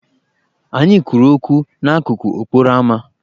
Anyị kwuru okwu n'akụkụ okporoama.